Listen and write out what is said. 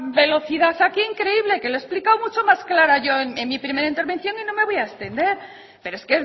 velocidad aquí increíble que lo he explicado mucho más clara yo en mi primera intervención y no me voy a extender pero es